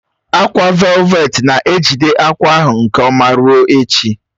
Ákwà velveti na-ejide akwa ahụ nke ọma ruo echi